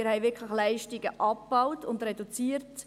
Wir haben wirklich Leistungen abgebaut und reduziert.